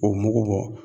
O mugu bɔ